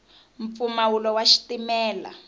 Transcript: mpfumawulo wa xitimela